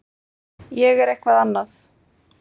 Ég er eitthvað annað.